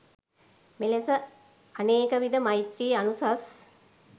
මෙලෙස අනේකවිධ මෛත්‍රී අනුසස්